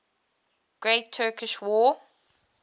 great turkish war